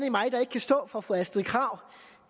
i mig der ikke kan stå for fru astrid krag